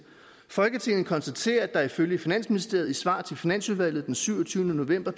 folketinget konstaterer at der ifølge finansministeriet i et svar til finansudvalget den syvogtyvende november